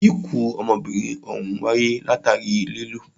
Ikú ọmọbìnrin òhún wáyé látàri lilù.